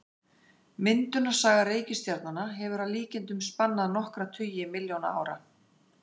Myndunarsaga reikistjarnanna hefur að líkindum spannað nokkra tugi milljóna ára.